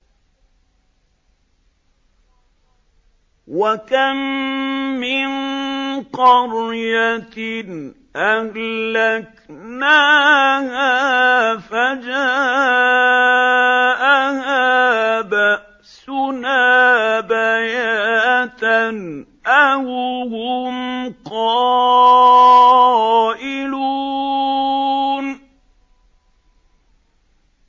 وَكَم مِّن قَرْيَةٍ أَهْلَكْنَاهَا فَجَاءَهَا بَأْسُنَا بَيَاتًا أَوْ هُمْ قَائِلُونَ